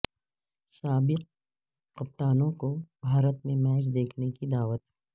سابق کپتانوں کو بھارت میں میچ دیکھنے کی دعوت